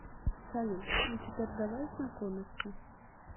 салют ну теперь давай знакомиться